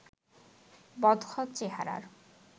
বদখত চেহারার